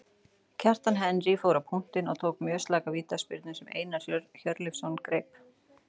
Kjartan Henry fór á punktinn og tók mjög slaka vítaspyrnu sem Einar Hjörleifsson greip.